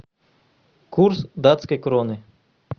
курс датской кроны